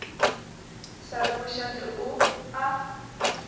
sa rego šate o a